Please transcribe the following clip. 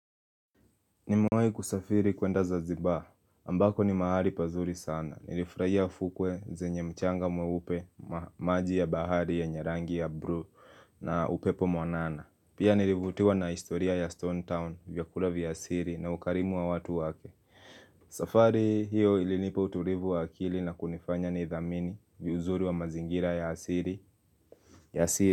Nimewai kusafiri kuenda zanzibar ambako ni mahali pazuri sana. Nilifurahia fukwe zenye mchanga mweupe maji ya bahari yenye rangi ya bruu na upepo mwanana. Pia nilivutiwa na historia ya Stone Town, vyakula vya asiri na ukarimu wa watu wake. Safari hiyo ilinipa uturivu wa akili na kunifanya ni dhamini viuzuri wa mazingira ya asiri.